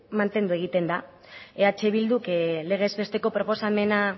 mantendu egiten da eh bilduk legez besteko proposamena